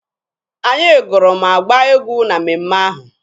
Anyị gụrụ ma gbaa egwu na mmemme ahụ.